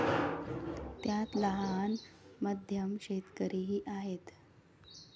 त्यात लहान, मध्यम शेतकरीही आहेत.